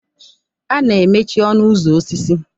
A na-emechi ọnụ ụzọ osisi.